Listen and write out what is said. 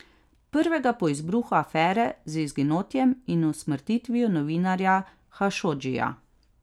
Prvega po izbruhu afere z izginotjem in usmrtitvijo novinarja Hašodžija.